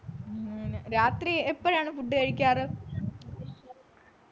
രാത്രി എപ്പോഴാണ് food കഴിക്കാറ്